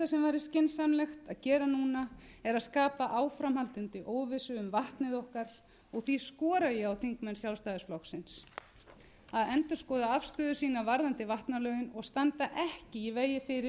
skynsamlegt að gera núna er að skapa áframhaldandi óvissu um vatnið okkar og því skora ég á þingmenn sjálfstæðisflokksins að endurskoða afstöðu sína varðandi vatnalögin og standa ekki í vegi fyrir að þau verði felld úr